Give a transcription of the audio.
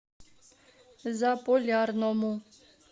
заполярному